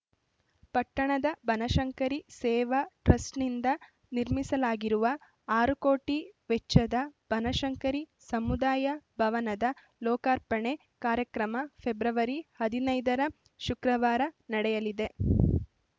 ಪಟ್ಟಣದ ಬನಶಂಕರಿ ಸೇವಾ ಟ್ರಸ್ಟ್‌ನಿಂದ ನಿರ್ಮಿಸಲಾಗಿರುವ ಆರು ಕೋಟಿ ವೆಚ್ಚದ ಬನಶಂಕರಿ ಸಮುದಾಯ ಭವನದ ಲೋಕಾರ್ಪಣೆ ಕಾರ್ಯಕ್ರಮ ಫೆಬ್ರವರಿ ಹದಿನೈದರ ಶುಕ್ರವಾರ ನಡೆಯಲಿದೆ